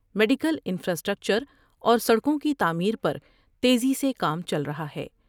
Medical infrastructure اور سڑکوں کی تعمیر پر تیزی سے کام چل رہا ہے ۔